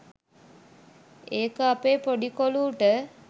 ඒක අපේ පොඩි කොලූට